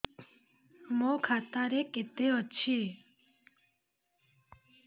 ମୋ ଖାତା ରେ କେତେ ଅଛି